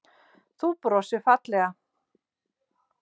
Þú brosir fallega.